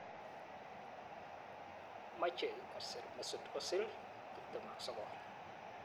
Machei kosir Mesut Ozil,29